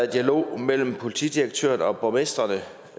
dialog mellem politidirektøren og borgmestrene